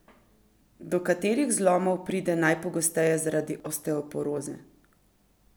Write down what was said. Do katerih zlomov pride najpogosteje zaradi osteoporoze?